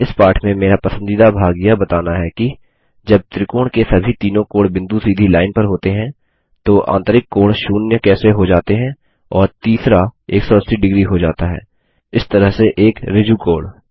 इस पाठ में मेरा पसंदीदा भाग यह बताना है कि जब त्रिकोण के सभी तीनों कोणबिंदु सीधी लाइन पर होते हैंदो आंतरिक कोण शून्य कैसे हो जाते हैं और तीसरा 180 डिग्री हो जाता है इस तरह से एक ऋजुकोण